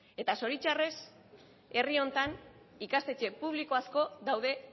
eta zoritxarrez herri honetan ikastetxe publiko asko daude